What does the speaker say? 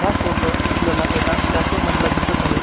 हा फोटो आपल्याला एका कॅफे मधला दिसत आहे.